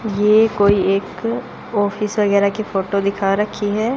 यह कोई एक ऑफिस वगैरा की फोटो दिखा रखी है।